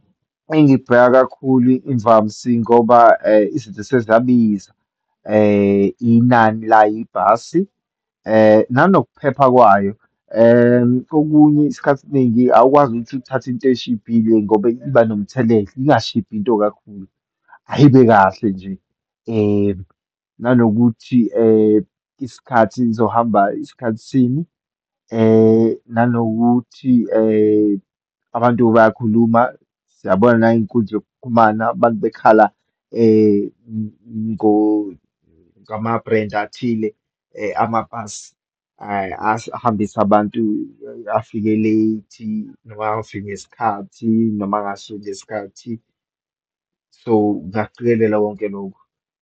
Engibheka kakhulu imvamsi ngoba izinto sezabiza, inani layibhasi, nenokuphepha kawo. Okunye, isikhathi esiningi awukwazi ukuthi uthathe into eshibhile ngoba iba nomthelela, ingashibhi into kakhulu, ayibe kahle nje. Nanokuthi isikhathi izohamba isikhathi sini, nanokuthi abantu bayakhuluma, yabona nangeyinkunzi yokuxhumana, abantu bekhala ngama-brands athile amabhasi ahambisa abantu, afike late noma angafiki ngesikhathi, noma angasuki ngesikhathi. So, ngingakucikelela konke lokhu.